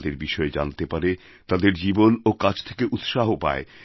তাঁদের বিষয়ে জানতে পারে তাঁদের জীবন ও কাজ থেকে উৎসাহ পায়